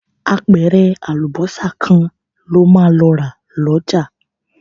Apẹ̀rẹ̀ àlùbọ́sà kan lo máa lọ rà lọ́jà